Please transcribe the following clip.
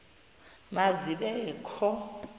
ma zibe kho